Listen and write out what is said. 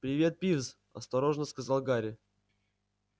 привет пивз осторожно сказал гарри